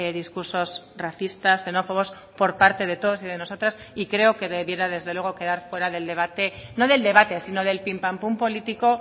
discursos racistas xenófobos por parte de todos y de nosotras y creo que debiera desde luego quedar fuera del debate no del debate sino del pim pam pum político